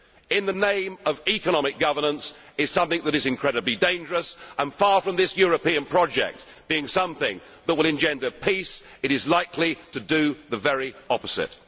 in the name of economic governance is something which is incredibly dangerous. Far from this European project being something that will engender peace, it is likely to do the very opposite.